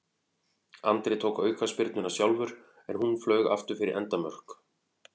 Andri tók aukaspyrnuna sjálfur en hún flaug aftur fyrir endamörk.